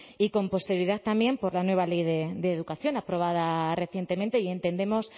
y con posterioridad también por la nueva ley de educación aprobada recientemente y entendemos